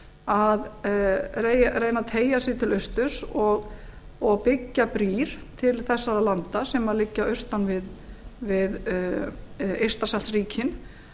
að reyna að teygja sig til austurs og byggja brýr til þessara landa sem liggja austan við eystrasaltsríkin